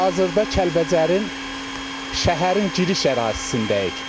Hazırda Kəlbəcərin şəhərin giriş ərazisindəyik.